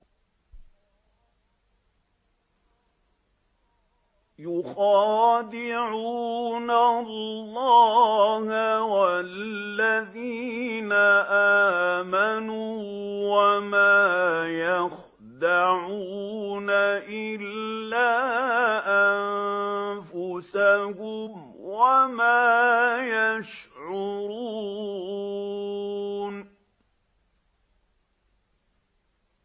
يُخَادِعُونَ اللَّهَ وَالَّذِينَ آمَنُوا وَمَا يَخْدَعُونَ إِلَّا أَنفُسَهُمْ وَمَا يَشْعُرُونَ